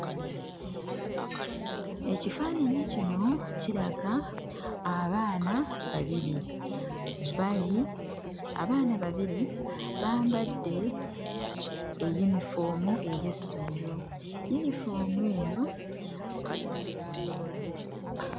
Ekifaananyi kino kiraga abaana babiri. Bali abaana babiri bambadde eyunifoomu ey'essomero. Yunifoomu eno...